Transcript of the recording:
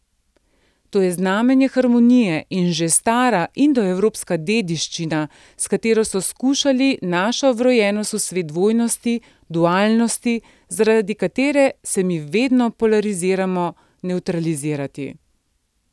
To je znamenje harmonije in že stara indoevropska dediščina, s katero so skušali našo vrojenost v svet dvojnosti, dualnosti, zaradi katere se mi vedno polariziramo, nevtralizirati.